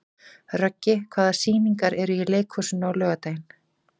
Röggi, hvaða sýningar eru í leikhúsinu á laugardaginn?